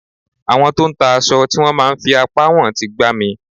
Àwọn tó ń ta aṣọ tí wón máa ń fi apá wọn ń ti gbá mi.